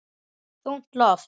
Þungt loft.